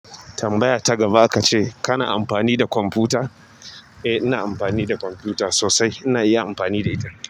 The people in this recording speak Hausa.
Tambaya ta gaba aka ce kana amfani da kwamfuta? Eh ina amfani da kwamfuta sosai. Ina iya amfani da ita.